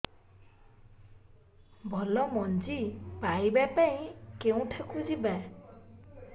ଭଲ ମଞ୍ଜି ପାଇବା ପାଇଁ କେଉଁଠାକୁ ଯିବା